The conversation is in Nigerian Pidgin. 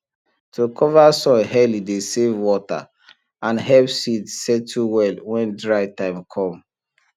to cover soil early dey save water and help seed settle well when dry time com